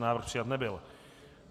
Návrh přijat nebyl.